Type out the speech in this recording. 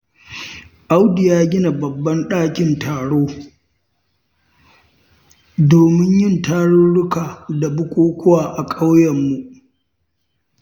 Audu ya gina babban ɗakin taro, domin yin tarurruka da bukukuwa a ƙauyenmu.